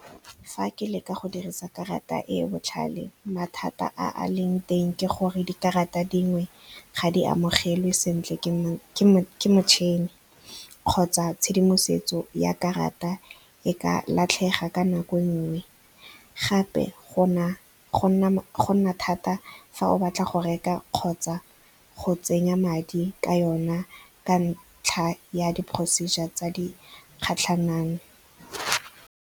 Fa ke leka go dirisa karata e e botlhale, mathata a leng teng ke gore dikarata dingwe ga di amogelwe sentle ke motšhini kgotsa tshedimosetso ya karata e ka latlhega ka nako e nngwe. Gape go nna thata fa o batla go reka kgotsa go tsenya madi ka yona ka ntlha ya di-procedure tse di kgatlhanang.